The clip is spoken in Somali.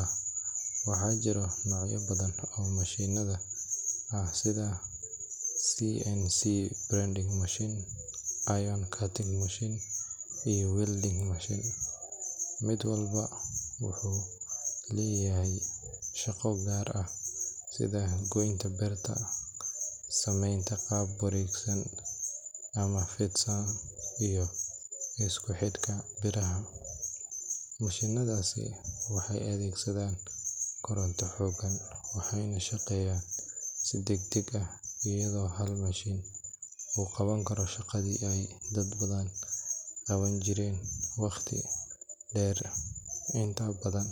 ah. Waxaa jira noocyo badan oo mashiinnadan ah sida CNC bending machine, iron cutting machine, iyo welding machine. Mid walba wuxuu leeyahay shaqo gaar ah sida goynta birta, samaynta qaab wareegsan ama fidsan, iyo isku xidhka biraha. Mashiinnadaasi waxay adeegsadaan koronto xooggan, waxayna shaqeeyaan si degdeg ah, iyadoo hal mashiin uu qaban karo shaqadii ay dad badan qaban jireen waqti dheer. Inta badan.